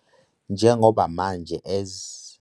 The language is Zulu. Njengoba manje ez